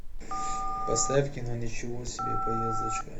поставь кино ничего себе поездочка